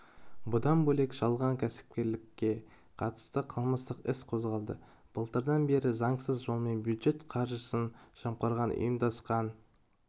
бұдан бөлек жалған кәсіпкерлікке қатысты қылмыстық іс қозғалды былтырдан бері заңсыз жолмен бюджет қаржысын жымқырған ұйымдасқан